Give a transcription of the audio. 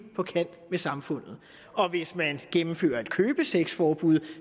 på kant med samfundet og hvis man gennemfører et købesexforbud